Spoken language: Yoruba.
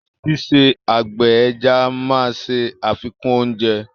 Ṣíṣe àgbẹ̀ ẹja máa ṣe àfikún oúnjẹ.